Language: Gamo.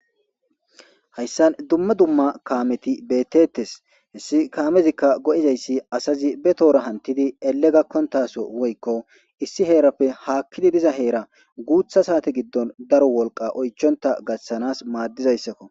Hayssan dumma dumma kaameti bettettes hessi kaamezikka go7izayssi asazi be toora hantidi ele gakkontaso woykko issi heerappe haakkidi diza heera guutha saate giddon daro wolqa oychonta gashshanas maaddizayssakko.